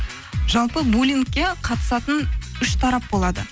жалпы булингке қатысатын үш тарап болады